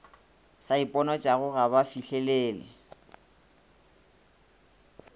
sa iponatšago ga ba fihlelele